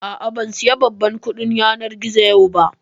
A'a, ban saya babban kuɗin yanar gizo yau ba